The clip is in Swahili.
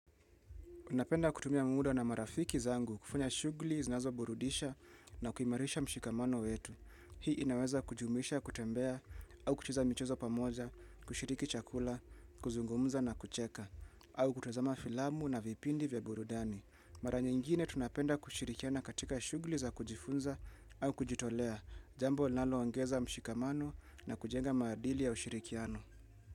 Napenda kutumia muda na marafiki zangu kufanya shugli zinazoburudisha na kuimarisha mshikamano wetu. Hii inaweza kujumuisha, kutembea, au kucheza michezo pamoja, kushiriki chakula, kuzungumza na kucheka, au kutuzama filamu na vipindi vya burudani. Mara nyingine tunapenda kushirikiana katika shugli za kujifunza au kujitolea, jambo linaloongeza mshikamano na kujenga maadili ya ushirikiano.